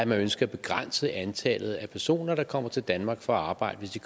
man ønsker at begrænse antallet af personer der kommer til danmark for at arbejde